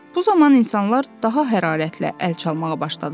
Bu zaman insanlar daha hərarətlə əl çalmağa başladılar.